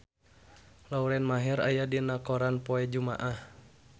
Lauren Maher aya dina koran poe Jumaah